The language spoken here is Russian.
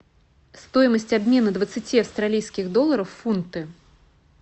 стоимость обмена двадцати австралийских долларов в фунты